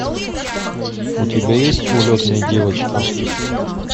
у тебя есть улетные девочки